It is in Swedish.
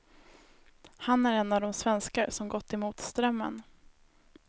Han är en av de svenskar som gått emot strömmen.